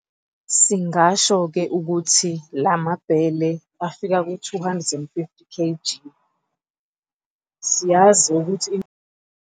Singasho-ke ukuthi la mabhele afika ku-250 kg. Siyazi ukuthi inkomo eyodwa idinga ifolishi elomile njalo ngosuku, manje singabala ukuthi ibhele elilodwa lizofuya inkomo eyodwa izinsuku ezingu-25 days. Inkomo eyodwa izodinga amabhele angu-1,2 ngenyanga.